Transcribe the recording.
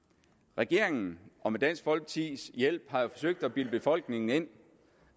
regeringen har med dansk folkepartis hjælp forsøgt at bilde befolkningen ind